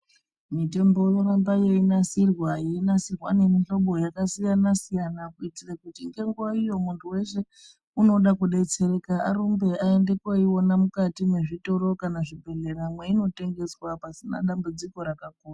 Mitombo yoramba yoyinasirwa nemitombo yakasiyana siyana, kuyitire kuti ngenguwa iyo, muntu weshe unoda kudetsereka arumbe ayende koyiwona mukati mezvitoro kana zvibhedhlera. Imwe inotengeswa pasina dambudziko rakakura.